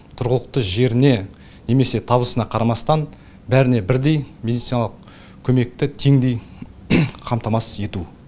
тұрғылықты жеріне немесе табысына қарамастан бәріне бірдей медициналық көмекті теңдей қамтамасыз етуі